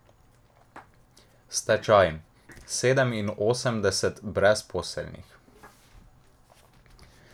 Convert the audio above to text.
Stečaj, sedeminosemdeset brezposelnih.